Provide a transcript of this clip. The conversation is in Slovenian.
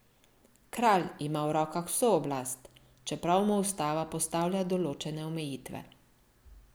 Kralj ima v rokah vso oblast, čeprav mu ustava postavlja določene omejitve.